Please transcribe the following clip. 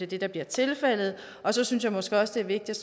det der bliver tilfældet så synes jeg måske også det er vigtigt